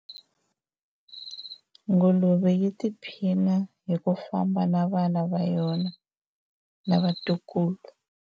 nguluve yi tiphina hi ku famba na vana va yona na vatukulu